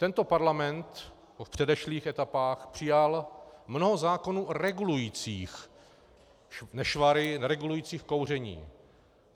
Tento parlament v předešlých etapách přijal mnoho zákonů regulujících nešvary, regulujících kouření.